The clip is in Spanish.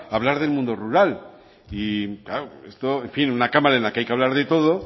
a hablar del mundo rural y claro esto en fin una cámara en la que hay que hablar de todo